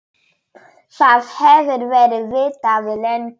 Það hefur verið vitað lengi.